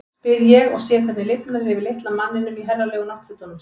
spyr ég og sé hvernig lifnar yfir litla manninum í herralegu náttfötunum sínum.